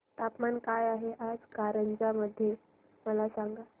तापमान काय आहे आज कारंजा मध्ये मला सांगा